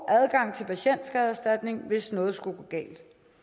adgang til patienterstatningen hvis noget skulle gå galt